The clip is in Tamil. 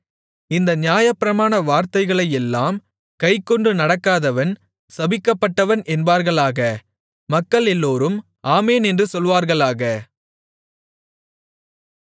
இந்த நியாயப்பிரமாண வார்த்தைகளையெல்லாம் கைக்கொண்டு நடக்காதவன் சபிக்கப்பட்டவன் என்பார்களாக மக்களெல்லோரும் ஆமென் என்று சொல்வார்களாக